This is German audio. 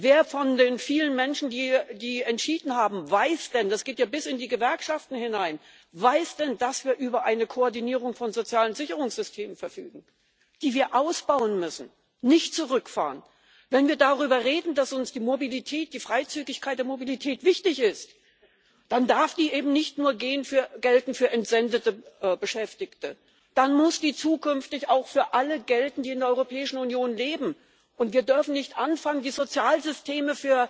Wer von den vielen Menschen, die entschieden haben, weiß denn das geht ja bis in die Gewerkschaften hinein dass wir über eine Koordinierung von sozialen Sicherungssystem verfügen, die wir ausbauen müssen, nicht zurückfahren. Wenn wir darüber reden, dass uns die Freizügigkeit der Mobilität wichtig ist, dann darf die eben nicht nur für entsendete Beschäftigte gelten. Dann muss die zukünftig auch für alle gelten, die in der Europäischen Union leben, und wir dürfen nicht anfangen, die Sozialsysteme